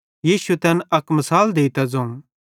यीशुए तैन अक मिसाल देइतां ज़ोवं